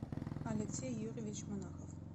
алексей юрьевич монахов